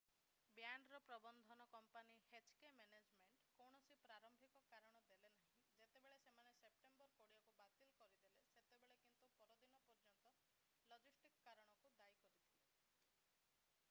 ବ୍ୟାଣ୍ଡର ପ୍ରବନ୍ଧନ company hk management inc କୌଣସି ପ୍ରାରମ୍ଭିକ କାରଣ ଦେଲେନାହିଁ ଯେତେବେଳେ ସେମାନେ ସେପ୍ଟେମ୍ବର 20 କୁ ବାତିଲ କରିଦେଲେ ସେତେବେଳେ କିନ୍ତୁ ପରଦିନ ପର୍ଯ୍ୟନ୍ତ ଲଜିଷ୍ଟିକ୍ କାରଣକୁ ଦାୟୀ କରିଥିଲେ